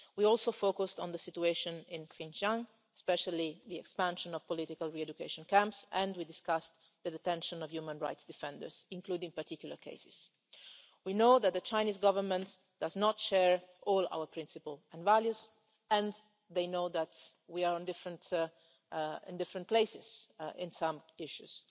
We also focused on the situation in Xinjiang, especially the expansion of political re education camps, and we discussed the detention of human rights defenders, including particular cases. We know that the Chinese Government does not share all our principles and values and they know that we are in different places in some